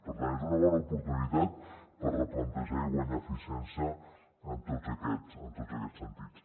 per tant és una bona oportunitat per replantejar i guanyar eficiència en tots aquests sentits